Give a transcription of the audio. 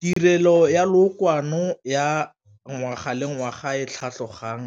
Tirelo ya lookwane ya ngwaga le ngwaga e tlhatlhogang